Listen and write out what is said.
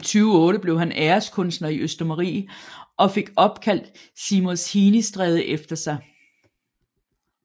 I 2008 blev han æreskunstner i Østermarie og fik opkaldt Seamus Heaney Stræde efter sig